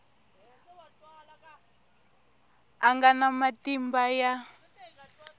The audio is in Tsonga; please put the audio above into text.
a nga na matimba ya